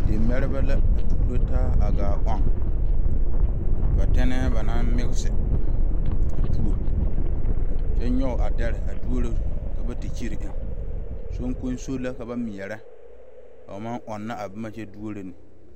Dimɛreba la a tuuro taa a gaa ɔŋ ba tenee banaŋ mise a tuo kyɛ nyoŋ a deri a doro te kyire eŋ soŋkoso la ka ba mɛre ka ba maŋ ɔnoo a boma kyɛ doro ne.